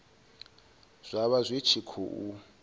zwa vha zwi tshi khou